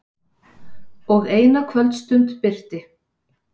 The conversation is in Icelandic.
Og eina kvöldstund birti.